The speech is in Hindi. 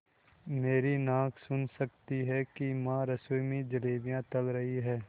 मेरी नाक सुन सकती है कि माँ रसोई में जलेबियाँ तल रही हैं